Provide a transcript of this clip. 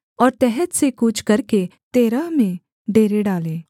और तहत से कूच करके तेरह में डेरे डाले